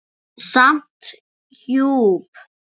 Samt djúp.